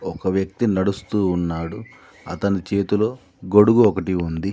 ఒక వ్యక్తి నడుస్తూ ఉన్నాడు అతని చేతిలో గొడుగు ఒకటి ఉంది.